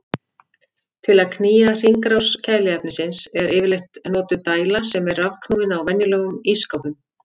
Til að knýja hringrás kæliefnisins er yfirleitt notuð dæla sem er rafknúin á venjulegum ísskápum.